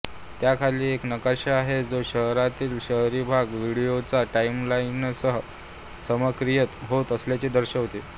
त्या खाली एक नकाशा आहे जो शहरातील शहरी भाग व्हिडिओच्या टाइमलाइनसह समक्रमित होत असल्याचे दर्शवितो